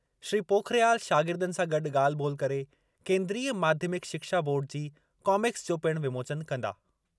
श्री पोखरियाल शागिर्दनि सां गॾु ॻाल्हि ॿोल्हि करे केन्द्रीय माध्यमिक शिक्षा बोर्ड जी कॉमिक्स जो पिणु विमोचन कंदा।